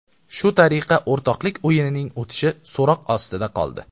Shu tariqa o‘rtoqlik o‘yinining o‘tishi so‘roq ostida qoldi.